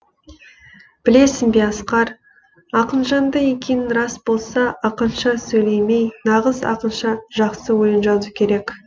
білесің бе асқар ақынжанды екенің рас болса ақынша сөйлемей нағыз ақынша жақсы өлең жазу керек